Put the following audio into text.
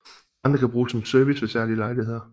Andre kan bruges som service ved særlige lejligheder